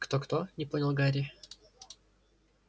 кто-кто не понял гарри